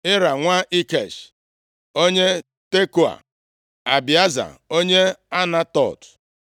Ira nwa Ikesh, onye Tekoa, Abieza onye Anatot,